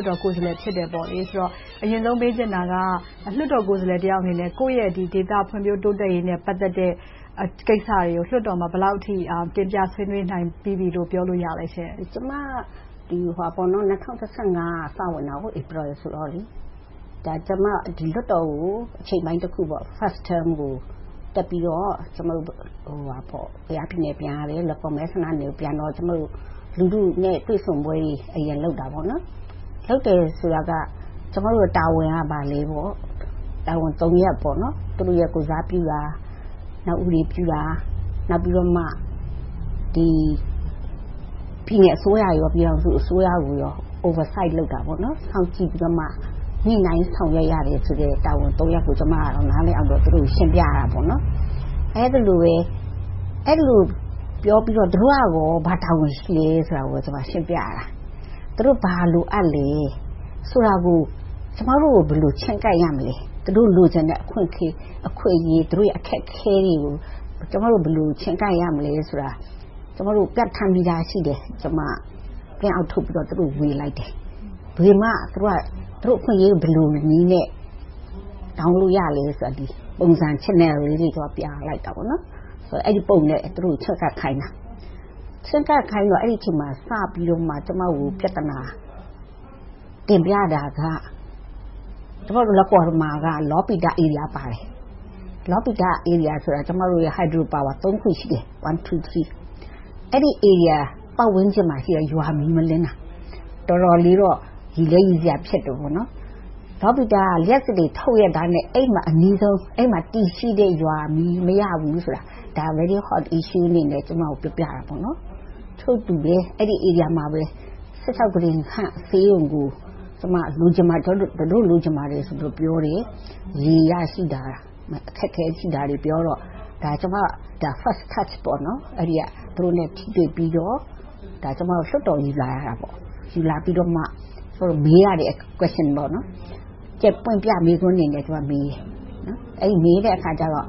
တ်တော်ကိုယ်စားလှယ်တဦးလည်း ဖြစ်တယ်ဆိုတော့ အရင်ဆုံး မေးချင်တာက လွှတ်တော်ကိုယ်စားလှယ်တယောက်အနေနဲ့ ကိုယ့်ရဲ့ဒေသဖွံ့ဖြိုးတိုးတက်ရေးနဲ့ ပတ်သက်တဲ့ကိစ္စတွေကို လွှတ်တော်မှာ ဘယ်လောက်အထိ တင်ပြဆွေးနွေးနိုင်ပြီးပြီလို့ ပြောလို့ရသလဲရှင့်။ ဒေါ်ခင်စည်သူ ။ ။ ကျမ ၂၀၁၅ ကစပြီးတော့ ဝင်တယ်။ လွှတ်တော်ကို အချိန်ပိုင်းတခု First term ကို တက်ပြီးတော့ ကယားပြည်နယ် ပြန်ရတယ်။ လွိုင်ကော်မဲဆန္ဒနယ်မြေကို ပြန်တော့ လူထုနဲ့ တွေ့ဆုံပွဲတွေ အရင်လုပ်တယ်။ လုပ်တယ်ဆိုတာက ကျမတို့ တာဝန်က ဘာလဲ။ တာဝန် ရပ် - လူထုကိုယ်စားပြုတာ၊ ဥပဒေပြုတာ၊ နောက်ပြီးတော့ ပြည်နယ်အစိုးရနဲ့ ပြည်ထောင်စုအစိုးရတို့ကို Oversee စောင့်ကြည့်ပြီးတော့ ညှိနှိုင်းဆောင်ရွက်ရမယ်ဆိုတဲ့ တာဝန် ရပ်ကို ကျမ က နားလည်အောင် ရှင်းပြရတယ်။ အဲဒီလို ပြောပြီးတော့ သူတို့ကရော ဘာတာဝန်ရှိသလဲဆိုတာကို ကျမ က ရှင်းပြရတယ်။ သူတို့ ဘာလိုအပ်သလဲ ဆိုတာကို၊ ကျမတို့ကို ဘယ်လို ချဉ်းကပ်ရမလဲ - သူတို့ လိုချင်တဲ့ အခွင့်အရေး၊ သူတို့ရဲ့ အခက်အခဲတွေကို ကျမတို့ ဘယ်လို ချဉ်းကပ်ရမလဲဆိုတာကို ပြဌာန်းပြီးသာရှိတယ်။ ကျမ Print out ထုတ်ပြီးတော့ သူတို့ကို ဝေလိုက်တယ်။ ဝေမှ သူတို့က သူတို့အခွင့်အရေးတွေကို ဘယ်လိုနည်းနဲ့ တောင်းလိုရသလဲဆိုတဲ့ Channel ပုံစံငယ်လေးတွေကို ပြလိုက်တယ်။ အဲဒီပုံစံနဲ့ သူတို့ကို ချဉ်းကပ်ခိုင်းတာ။ ချဉ်းကပ်ခိုင်းပြီးတော့ အဲဒီအချိန်မှာ စပြီးတော့ ကျမကို ပြဿနာ တင်ပြတာက လွိုင်ကော်မှာ လောပိတ ဧရိယာပါတယ်။ လောပိတဧရိယာဆိုတာ ကျမတို့ရဲ့ ဟိုက်ဒရိုပါဝါ ခု ရှိတယ် - ဝမ် တူး သရီး။ အဲဒီ ဧရိယာပတ်ဝန်းကျင်မှ ရှိတဲ့ ရွာက မီးမလင်းတာ။ တော်တော်လေးတော့ ရယ်လည်းရယ်စရာ ဖြစ်တယ်။ လောပိတ က လျှပ်စစ်တွေ ထုတ်ရဲ့သားနဲ့ အဲဒီမှာ အနီးဆုံးရွာက မီးမရဘူးဆိုတာ ဒါကို Very hot issue အနေနဲ့ ကျမကို ပြောပြတယ်။ ထို့တူပဲ အဲဒီ ဧရိယာမှာ ကုတင်ဆန့် ဆေးရုံကို လိုချင်ပါတယ်ဆိုပြီး ပြောတယ်။ ရေရရှိတာတွေ၊ အခက်အခဲ ရှိတာတွေပြောတော့ ဒါက ကျမရဲ့ First touch သူတို့နဲ့ ထိတွေ့ပြီးတော့ ဒီကိစ္စကို လွှတ်တော်ကို ယူလာရတယ်။ ယူလာပြီးတော့မှ မေးရတဲ့ Question တွေ။ ကြယ်ပွင့်ပြ မေးခွန်းအနေနဲ့ ကျမ မေးတယ်။ အဲဒီလို မေးတဲ့အခါကြတော့